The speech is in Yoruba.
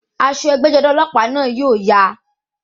Aṣọ ẹgbẹ́-jọdá ọlọ́pàá náà yóò ya.